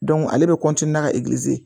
ale bɛ ka